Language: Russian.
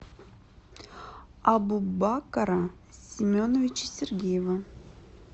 абубакара семеновича сергеева